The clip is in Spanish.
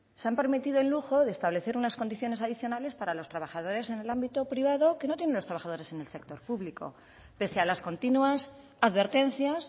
se han permitido el lujo de establecer unas condiciones adicionales para los trabajadores en el ámbito privado que no tienen los trabajadores en el sector público pese a las continuas advertencias